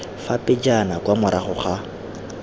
fa pejana kwa morago ga